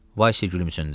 Vasya gülümsündü.